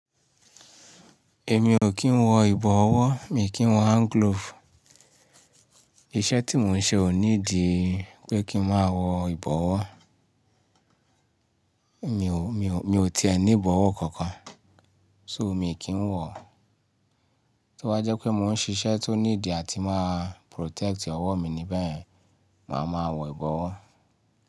Èmi ò kí ń wọ ìbọ̀wọ́, mi kì í wọ hand glove. Iṣẹ́ tí mò ń ṣe ò nídìí pé kí n má wọ ìbọwọ́. Mi ò, mi ò, mi ò ti ẹni bọwọ́ kankan, so mi kì ń wọ. To bá jẹ́ pé mò ń ṣiṣẹ́ tó need àti má protect ọwọ́ mi ní beyen, màá ma wọ ìbọwọ́.